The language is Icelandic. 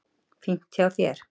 Fínt hjá þér!